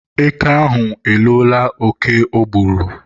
Eke ahụ elola oke o gburu.